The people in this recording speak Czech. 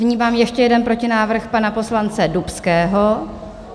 Vnímám ještě jeden protinávrh pana poslance Dubského.